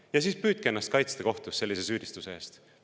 Ja püüdke ennast kohtus sellise süüdistuse eest kaitsta!